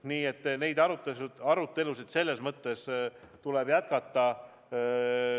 Nii et neid arutelusid tuleb jätkata.